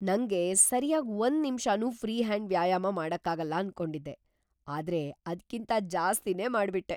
ನಂಗೆ ಸರ್ಯಾಗ್ ಒಂದ್‌ ನಿಮ್ಷನೂ ಫ್ರೀ ಹ್ಯಾಂಡ್‌ ವ್ಯಾಯಾಮ ಮಾಡಕ್ಕಾಗಲ್ಲ ಅನ್ಕೊಂಡಿದ್ದೆ, ಆದ್ರೆ ಅದ್ಕಿಂತ ಜಾಸ್ತಿನೇ ಮಾಡ್ಬಿಟ್ಟೆ!